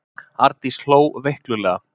Arndís hló veiklulega.